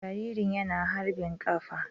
Jaririn yana harbin kafa.